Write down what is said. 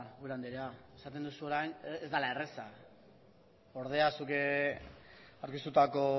andrea esaten duzu orain ez dala erraza ordea zuk aurkeztutako